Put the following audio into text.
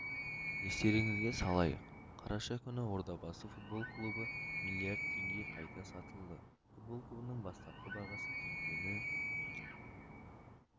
естеріңізге салайық қараша күні ордабасы футбол клубы миллиард теңгеге қайта сатылды футбол клубының бастапқы бағасы теңгені